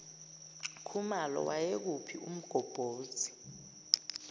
khumalo wayekuphi umgobhozi